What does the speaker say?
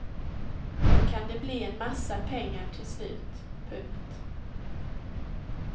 Då kan det bli en massa pengar till slut. punkt